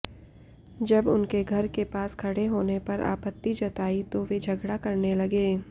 जब उनके घर के पास खड़े होने पर आपत्ती जताई तो वे झगड़ा करने लगे